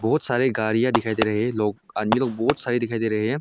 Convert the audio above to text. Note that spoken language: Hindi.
बहुत सारे गाड़िया दिखाई दे रहे है लोग आदमी लोग बहुत सारे दिखाई दे रहे हैं।